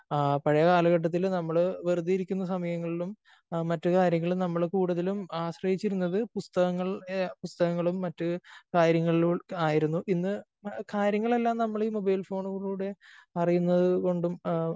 ആ പഴയ കാലഘട്ടത്തില് നമ്മള് വെറുതെ ഇരിക്കുന്ന സമയങ്ങളിലും മറ്റ് കാര്യങ്ങളിലും നമ്മള് കൂടുതലും ആശ്രയിച്ചിരുന്നത് പുസ്തകങ്ങൾ പുസ്തകങ്ങളും മറ്റ് കാര്യങ്ങളിലും ആയിരുന്നു. ഇന്ന് കാര്യങ്ങൾ എല്ലാം നമ്മൾ ഈ മൊബൈൽ ഫോണിലൂടെ അറിയുന്നത് കൊണ്ടും